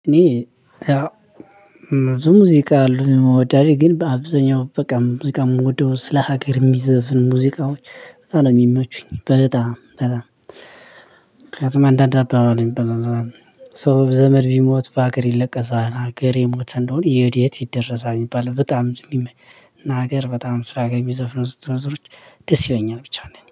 እኔ ሙዚቃ አልወድም ግን በብዙኛው በቃ እዚህ ጋር የምወደው ስለ ሀገር የሚዘፍኑ ሙዚቃዎች በጣም በጣም። ምክንያቱም አንዳንድ አባባሎች የምበላ ሰው ዘመድ ቢሞት በሀገር ይለቀሳህ ሀገር የሞተ እንደሆነ ወዴት ይደረሳል? የሚባል በጣም ነገር በጣም ስራ ጋር የሚዘፍኑት ዘፈኖች ደስ ይለኛል። ብቻ እንደኔ